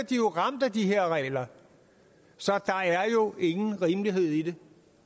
de ramt af de her regler så der er jo ingen rimelighed i